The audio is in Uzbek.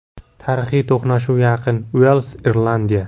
Tarixiy to‘qnashuv yaqin: Uels Irlandiya.